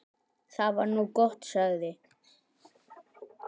Það var nú gott, sagði